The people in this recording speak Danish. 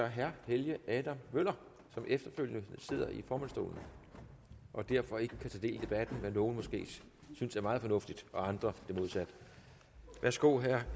herre helge adam møller som efterfølgende sidder i formandsstolen og derfor ikke kan tage del i debatten hvad nogle måske synes er meget fornuftigt og andre det modsatte værsgo herre